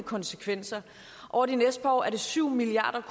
konsekvenser over de næste par år er det syv milliard